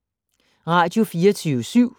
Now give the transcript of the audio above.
Radio24syv